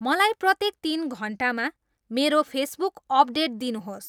मलाई प्रत्येक तीन घण्टामा मेरो फेसबुक अपडेट दिनुहोस्